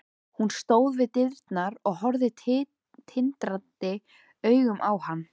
Hún stóð við dyrnar og horfði tindrandi augum á hann.